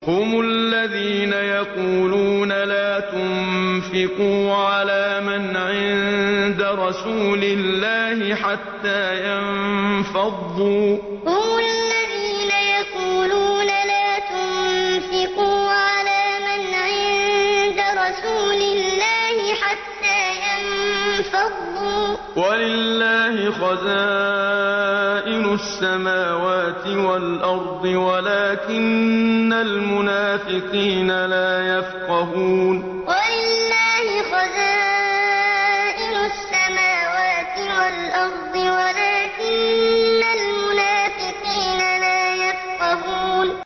هُمُ الَّذِينَ يَقُولُونَ لَا تُنفِقُوا عَلَىٰ مَنْ عِندَ رَسُولِ اللَّهِ حَتَّىٰ يَنفَضُّوا ۗ وَلِلَّهِ خَزَائِنُ السَّمَاوَاتِ وَالْأَرْضِ وَلَٰكِنَّ الْمُنَافِقِينَ لَا يَفْقَهُونَ هُمُ الَّذِينَ يَقُولُونَ لَا تُنفِقُوا عَلَىٰ مَنْ عِندَ رَسُولِ اللَّهِ حَتَّىٰ يَنفَضُّوا ۗ وَلِلَّهِ خَزَائِنُ السَّمَاوَاتِ وَالْأَرْضِ وَلَٰكِنَّ الْمُنَافِقِينَ لَا يَفْقَهُونَ